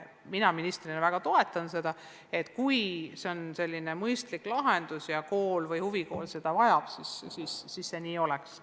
Mina ministrina väga toetan, et kui on mõistlik lahendus ja kool või huvikool seda vajab, siis see nii oleks.